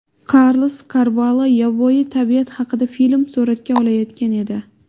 Karlos Karvalo yovvoyi tabiat haqida film suratga olayotgan edi.